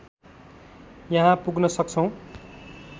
यहाँ पुग्न सक्छौं।